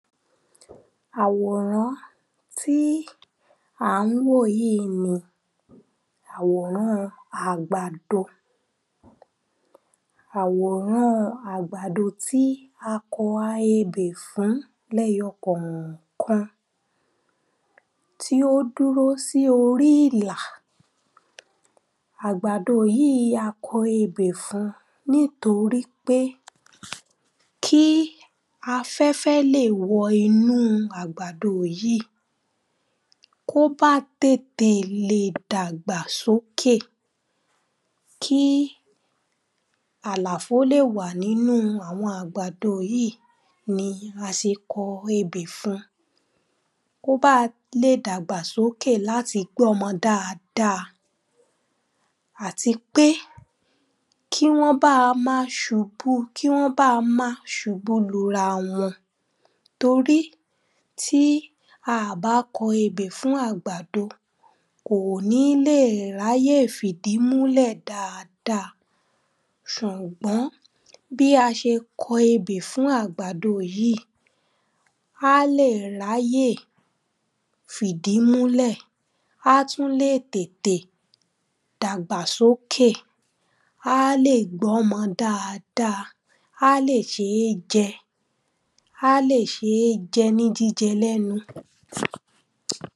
Àwòrán tí à ń wò yíì ni àwòrán àgbàdo. àwòɹã́ àgbàdó tí a ko̩ a ebè fún lé̩yo̩ kò̩ò̩kan. Tí ó dúró sí orí ìlà. Àgbàdo yíì a ko̩ ebè fun nítorípé kí afé̩fé̩ lè wo̩nú àgbàdo yíì. Kó bá tètè lè dàgbà sókè Kí àlàfo lè wà nínú àwo̩n àgbàdo yíì ni a se ko̩ ebè fun. Kó bá lè dàgbà sókè láti gbó̩mo̩ dáadáa. Àti pé kí wó̩n bá má subú kí wó̩n bá má subú lura wo̩n. Torí tí a à bá ko̩ ebè fún àgbàdo, kò ní lè ráyè fìdí múlè̩ dáadáa. Sùngbó̩n bí a se ko̩ ebè fún àgbàdo yíì, a lè ráyè fìdí múlè̩ Á tún lè tètè dàgbà sókè. Á lè gbó̩mo̩ dáadáa. Á lè s̩é je̩. Á lè s̩é je̩ ní jíje̩ lé̩nu.